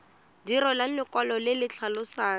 direlwa lekwalo le le tlhalosang